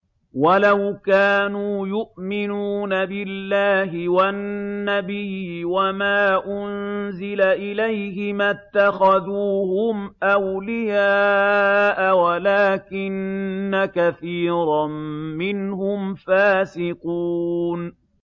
وَلَوْ كَانُوا يُؤْمِنُونَ بِاللَّهِ وَالنَّبِيِّ وَمَا أُنزِلَ إِلَيْهِ مَا اتَّخَذُوهُمْ أَوْلِيَاءَ وَلَٰكِنَّ كَثِيرًا مِّنْهُمْ فَاسِقُونَ